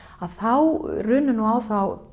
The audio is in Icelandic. þá runnu nú á þá